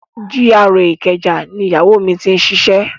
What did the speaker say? GRA ìkẹjà ni Ìyáwó mi ti ṣiṣẹ́.